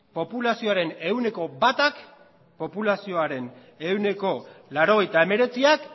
populazioaren ehuneko batak populazioaren ehuneko laurogeita hemeretziak